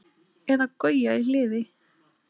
Eða Gauja í Hliði!